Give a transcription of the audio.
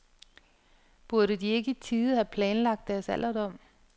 Burde de ikke i tide have planlagt deres alderdom?